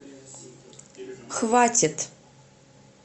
хватит